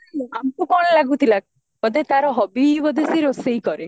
ଆମକୁ କଣ ଲାଗୁଥିଲା ବୋଧେ ତାର hobby ହି ବୋଧେ ତାର ରୋଷେଇ କରେ